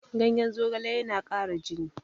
Ganyen zogale yana ƙara jini.